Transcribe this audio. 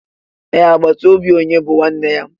Ee, àgbàtà óbị onye bú nwanne ya